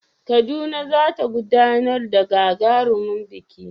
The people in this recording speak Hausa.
Kaduna za ta gudanar da gagarumin biki